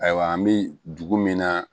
Ayiwa an bi dugu min na